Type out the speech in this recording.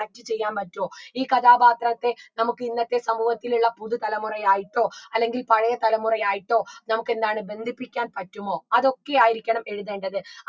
connect ചെയ്യാൻ പറ്റുവോ ഈ കഥാപാത്രത്തെ നമുക്ക് ഇന്നത്തെ സമൂഹത്തിലുള്ള പുതു തലമുറയായിട്ടോ അല്ലെങ്കിൽ പഴേ തലമുറയായിട്ടോ നമുക്ക് എന്താണ് ബന്ധിപ്പിക്കാൻ പറ്റുമോ അതൊക്കെ ആയിരിക്കണം എഴുതേണ്ടത്